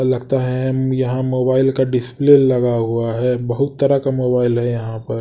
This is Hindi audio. लगता है यहां मोबाइल का डिस्प्ले लगा हुआ है बहुत तरह का मोबाइल है यहां पर--